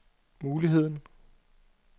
muligheden